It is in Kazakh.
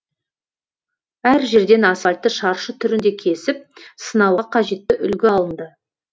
әр жерден асфальтты шаршы түрінде кесіп сынауға қажетті үлгі алынды